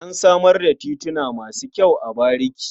An samar da tituna masu kyau a bariki.